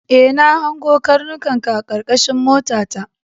E, na hango karnukanka a karkashin motata.